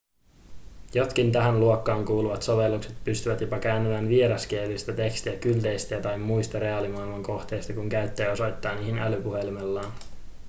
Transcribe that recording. jotkin tähän luokkaan kuuluvat sovellukset pystyvät jopa kääntämään vieraskielistä tekstiä kylteistä tai muista reaalimaailman kohteista kun käyttäjä osoittaa niihin älypuhelimellaan